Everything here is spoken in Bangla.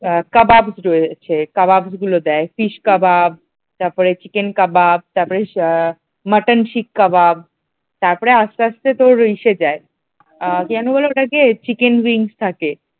কাবাব রয়েছে কাবাব গুলো দেয় fish কাবাব তারপর চিকেন কাবাব মাটন শিখ কাবাব তারপর আস্তে আস্তে তোর আসে যাই কি যেন বলে ওটা কে চিকেন wings থাকে ।